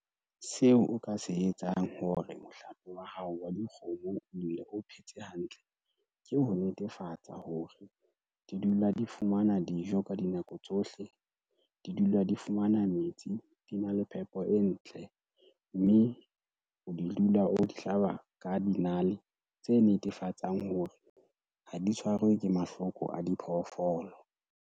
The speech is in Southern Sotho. Seo o ka se etsang hore mohlape wa hao wa dikgomo o dule, o phetse hantle ke ho netefatsa hore di dula di fumana dijo ka dinako tsohle, di dula di fumana metsi, di na le phepo e ntle mme o dula o di hlaba ka dinale tse netefatsang hore ha di tshwarwe ke mahloko a diphoofolo.